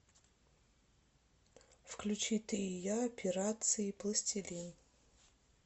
включи ты и я операции пластилин